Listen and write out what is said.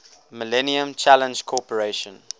millennium challenge corporation